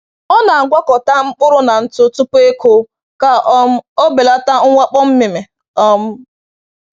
Ọ na‑agwakọta mkpụrụ na ntụ tupu ịkụ ka um o belata mwakpo mmịmị. um